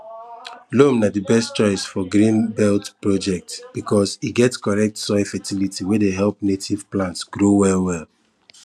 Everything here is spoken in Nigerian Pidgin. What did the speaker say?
loam na di best choice for green belt projects because e get correct soil fertility wey help native plants grow well well